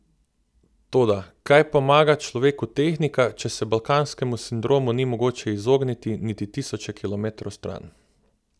Toda, kaj pomaga človeku tehnika, če se balkanskemu sindromu ni mogoče izogniti niti tisoče kilometrov stran.